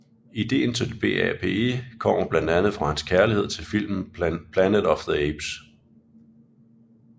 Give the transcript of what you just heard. Ideen til BAPE kommer blandt andet fra hans kærlighed til filmen Planet of the Apes